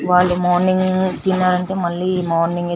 వాళ్ళు మార్నింగ్ తిన్నారంటే మల్లి మార్నింగ్ ఏ తిన్తరంతా